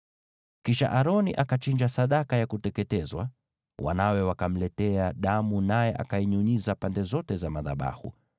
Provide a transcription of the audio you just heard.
Kisha Aroni akachinja sadaka ya kuteketezwa. Wanawe wakamletea damu, naye akainyunyiza pande zote za madhabahu.